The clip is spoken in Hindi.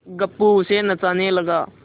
गप्पू उसे नचाने लगा